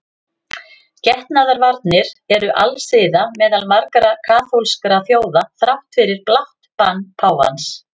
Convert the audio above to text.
Getnaðarvarnir eru alsiða meðal margra kaþólskra þjóða þrátt fyrir blátt bann páfans.